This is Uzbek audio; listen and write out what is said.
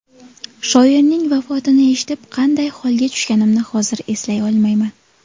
Shoirning vafotini eshitib qanday holga tushganimni hozir eslay olmayman.